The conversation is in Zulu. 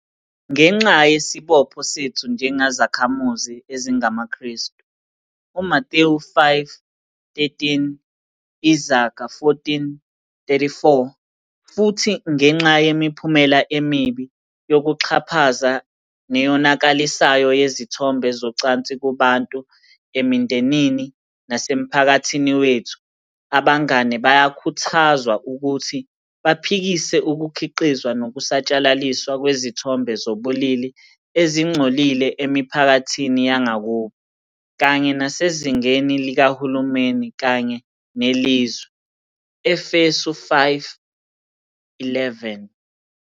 Ngenxa yesibopho sethu njengezakhamizi ezingamaKrestu, uMathewu 5:13, Izaga 14:34, futhi ngenxa yemiphumela emibi, yokuxhaphaza, neyonakalisayo yezithombe zocansi kubantu, emindenini, nasemphakathini wethu. Abangane bayakhuthazwa ukuthi baphikise ukukhiqizwa nokusatshalaliswa kwezithombe zobulili ezingcolile emiphakathini yangakubo, kanye nasezingeni likahulumeni kanye nelizwe, Efesu 5:11.